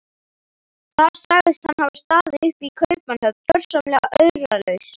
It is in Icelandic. Þar sagðist hann hafa staðið uppi í Kaupmannahöfn gjörsamlega auralaus.